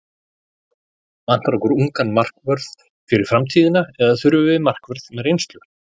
Vantar okkur ungan markvörð fyrir framtíðina eða þurfum við markvörð með reynslu?